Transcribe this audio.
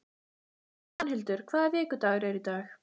Svanhildur, hvaða vikudagur er í dag?